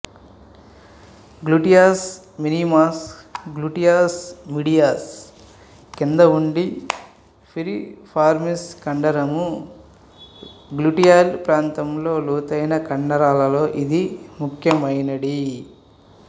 gluteus minimus gluteus medius క్రింద ఉంది piriformis కండరము గ్లూటయల్ ప్రాంతంలో లోతైన కండరాలలో ఇది ముఖ్యమైనడి